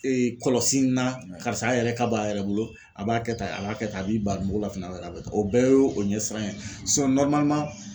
kɔlɔsi in na karisa a yɛrɛ ka b'a yɛrɛ bolo a b'a kɛ tan a b'a kɛ tan a b'i ban mugulafana b'a la a bɛ kɛ o bɛɛ ye o ɲɛsiranɲɛ ye